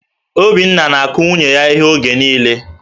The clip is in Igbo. Obinna na-akụ nwunye ya íhé oge niile